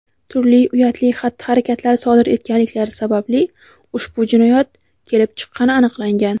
turli uyatli xatti-harakatlar sodir etganliklari sababli ushbu jinoyat kelib chiqqani aniqlangan.